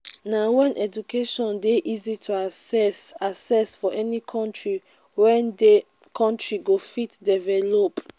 na when education dey easy to access access for any country wey de country go fit develop